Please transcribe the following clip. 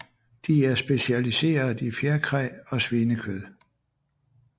De er specialiseret i fjerkræ og svinekød